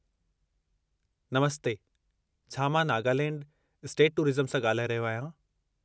नमस्ते! छा मां Nagaland state tourism सां ॻाल्हाए रहियो आहियां?